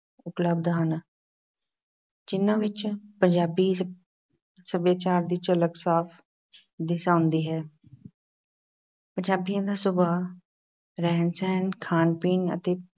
ਉਪਲਬਧ ਹਨ ਜਿਨ੍ਹਾਂ ਵਿੱਚੋਂ ਪੰਜਾਬੀ ਸੱ ਸੱਭਿਆਚਾਰ ਦੀ ਝਲਕ ਸਾਫ਼ ਦਿਸ ਆਉਂਦੀ ਹੈ ਪੰਜਾਬੀਆਂ ਦਾ ਸੁਭਾਅ, ਰਹਿਣ-ਸਹਿਣ, ਖਾਣ-ਪੀਣ ਅਤੇ